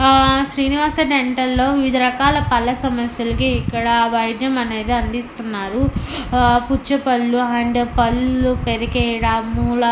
ఆ శ్రీనివాస డెంటల్ లో వివిధ రకాల పళ్ళ సమస్యలకి ఇక్కడ వైద్యం అనేది అందిస్తున్నారు ఆ పుచ్చ పళ్ళు అండ్ పళ్ళు పెరికేయడం హా--